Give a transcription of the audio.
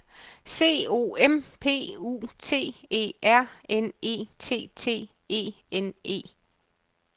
C O M P U T E R N E T T E N E